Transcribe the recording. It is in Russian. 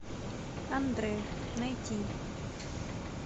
андре найти